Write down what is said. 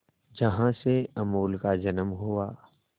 जहां से अमूल का जन्म हुआ